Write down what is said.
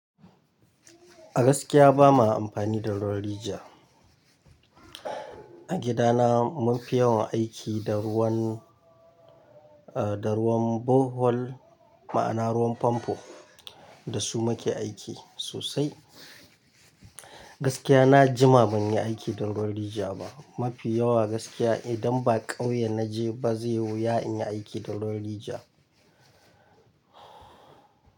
Gaskiya ba ma amfani da ruwan rijiya. A gidana mun fi yawan aiki da ruwan, ah, da ruwan borehole ma'ana ruwan famfo. Da su muke aiki sosai. Gaskiya na jima ban yi aiki da ruwan rija ba. Mafi yawa gaskiya idan ba ƙauye na je ba zai yiwu ya in yi aiki da ruwan rijiya.